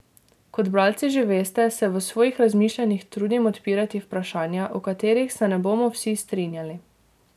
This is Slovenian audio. Kot bralci že veste, se v svojih razmišljanjih trudim odpirati vprašanja, o katerih se ne bomo vsi strinjali.